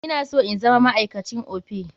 Ina so in zama ma'aikacin Opay.